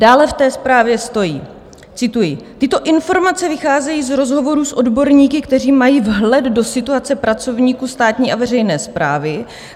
Dále v té zprávě stojí, cituji: "Tyto informace vycházejí z rozhovorů s odborníky, kteří mají vhled do situace pracovníků státní a veřejné správy.